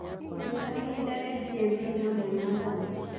njĩraĩhĩnda rĩa g.m.t hamwe na thano